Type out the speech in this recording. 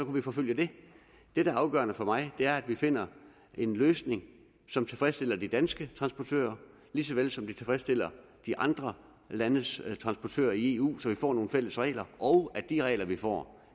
vi forfølge det det der er afgørende for mig er at vi finder en løsning som tilfredsstiller de danske transportører lige så vel som den tilfredsstiller de andre landes transportører i eu så vi får nogle fælles regler og at de regler vi får